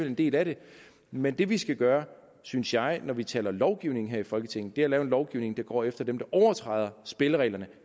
en del af det men det vi skal gøre synes jeg når vi taler lovgivning her i folketinget er at lave en lovgivning der går efter dem der overtræder spillereglerne